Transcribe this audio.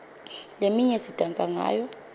leminye sidansa ngayo